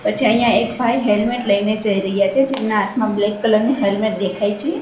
પછી અહીંયા એક ભાઈ હેલ્મેટ લઈને જઈ રહ્યા છે જેમના હાથમાં બ્લેક કલર ની હેલ્મેટ દેખાય છે.